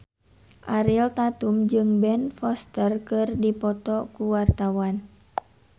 Ariel Tatum jeung Ben Foster keur dipoto ku wartawan